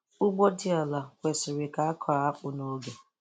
Ugbo dị ala kwesiri ka akọọ akpụ n'oge.